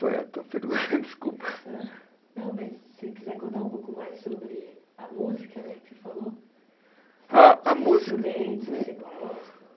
Foi a tua pergunta? Desculpa. Não, mas se quiser contar um pouco mais sobre a música né, que você falou. A, a música. Os instrumentos que você gosta.